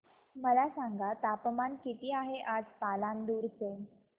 मला सांगा तापमान किती आहे आज पालांदूर चे